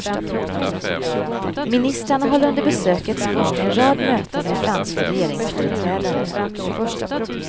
Ministrarna håller under besökets gång en rad möten med franska regeringsföreträdare.